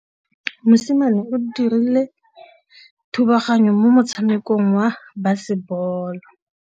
Mosimane o dirile thubaganyô mo motshamekong wa basebôlô.